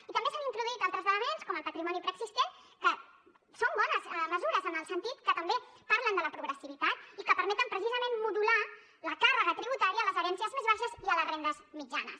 i també s’han introduït altres elements com el patrimoni preexistent que són bones mesures en el sentit que també parlen de la progressivitat i que permeten precisament modular la càrrega tributària a les herències més baixes i a les rendes mitjanes